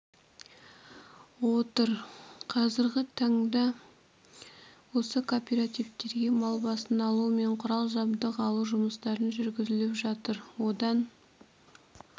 отыр қазіргі таңда осы кооперативтерге мал басын алу мен құрал-жабдық алу жұмыстары жүргізіліп жатыр одан